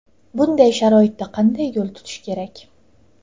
Bunday sharoitda qanday yo‘l tutish kerak?